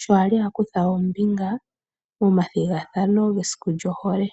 sho a li a kutha ombinga momathigathano mesiku lyohole.